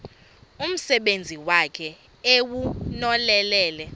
umsebenzi wakhe ewunonelele